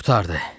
Qurtardı.